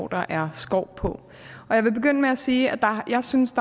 der er skov på jeg vil begynde med at sige at jeg synes